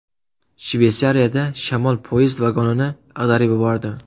Shveysariyada shamol poyezd vagonini ag‘darib yubordi .